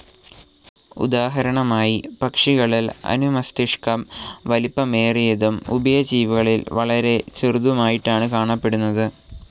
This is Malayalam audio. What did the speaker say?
ഉദാഹരണമായി പക്ഷികളിൽ അനുമസ്തിഷ്കം വലിപ്പമേറിയതും ഉഭയജീവികളിൽ വളരെ ചെറുതുമായിട്ടാണ് കാണപ്പെടുന്നത്.